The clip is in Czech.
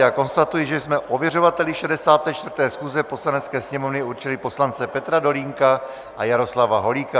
Já konstatuji, že jsme ověřovateli 64. schůze Poslanecké sněmovny určili poslance Petra Dolínka a Jaroslava Holíka.